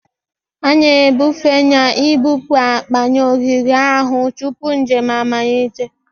A na-ebufe na ibupu akpa na ogige ahụ tupu njem amalite